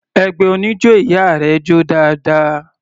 Ẹgbẹ́ oníjó ìyá rẹ jó dáadáa.